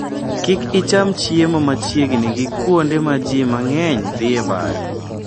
Kik icham chiemo machiegni gi kuonde ma ji mang'eny dhiye bayo.